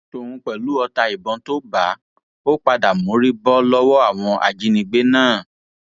tòun pẹlú ọta ìbọn tó bá a ó padà mórí bọ lọwọ àwọn ajínigbé náà